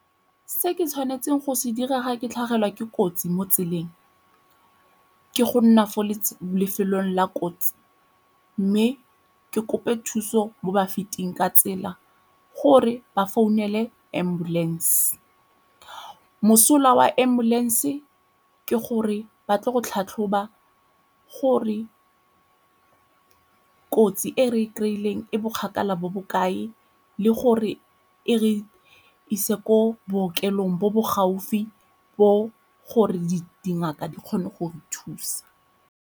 Se ke tshwanetseng go se dira ga ke tlhagelwa ke kotsi mo tseleng ke go nna fo lefelong la kotsi mme ke kope thuso mo ba feting ka tsela gore ba founele ambulance. Mosola wa ambulance ke gore ba tle go tlhatlhoba gore kotsi e re kry-ileng e bokgagala bo bo kae le gore e re ise ko bookelong bo bo gaufi bo gore di dingaka di kgone go re thusa.